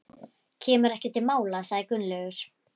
Kemur ekki til mála sagði Gunnlaugur.